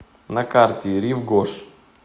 на карте рив гош